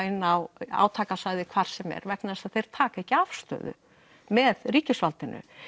inn á átakasvæði hvar sem er vegna þess að þeir taka ekki afstöðu með ríkisvaldinu